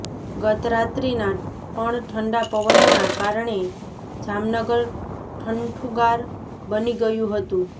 ગતરાત્રીના પણ ઠંડા પવનના કારણે જામનગર ઠઠુંગાર બની ગયું હતું